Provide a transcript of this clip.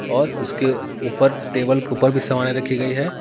और उसके ऊपर टेबल के ऊपर भी सामानें रखी गई है।